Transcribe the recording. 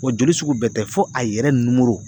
Wa joli sugu bɛɛ tɛ fo a yɛrɛ numoro